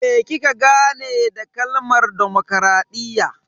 Me kika gane da kalmar demokradiyya?